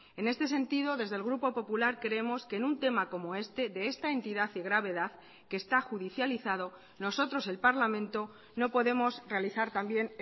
en este sentido desde el grupo popular creemos que en un tema como este de esta entidad y gravedad que está judicializado nosotros el parlamento no podemos realizar también